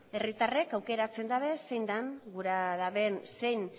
herritarrek aukeratzen dabez zein den gura daben zein